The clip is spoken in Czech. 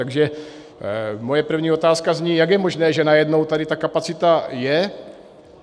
Takže moje první otázka zní: Jak je možné, že najednou tady ta kapacita je?